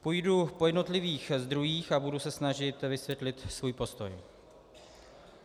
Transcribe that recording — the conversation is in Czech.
Půjdu po jednotlivých zdrojích a budu se snažit vysvětlit svůj postoj.